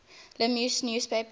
la meuse newspaper